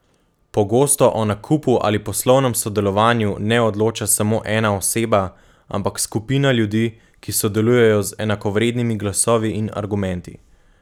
Pogosto o nakupu ali poslovnem sodelovanju ne odloča samo ena oseba, ampak skupina ljudi, ki sodelujejo z enakovrednimi glasovi in argumenti.